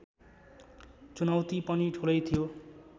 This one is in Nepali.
चुनौति पनि ठूलै थियो